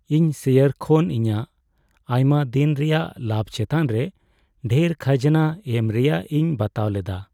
ᱤᱧ ᱥᱮᱭᱟᱨ ᱠᱷᱚᱱ ᱤᱧᱟᱹᱜ ᱟᱭᱢᱟ ᱫᱤᱱ ᱨᱮᱭᱟᱜ ᱞᱟᱵᱷ ᱪᱮᱛᱟᱱ ᱨᱮ ᱰᱷᱮᱨ ᱠᱷᱟᱡᱽᱱᱟ ᱮᱢ ᱨᱮᱭᱟᱜ ᱤᱧ ᱵᱟᱛᱟᱣ ᱞᱮᱫᱟ ᱾